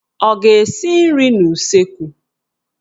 Ọ ga-esi nri n'useekwu?